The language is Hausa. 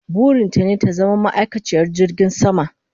Burin ta ne ta zama ma'aikaciyar jirgin sama